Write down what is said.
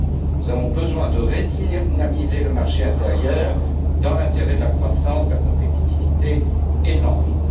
Nous avons besoin de redynamiser le marché intérieur dans l'intérêt de la croissance, de la compétitivité et de l'emploi.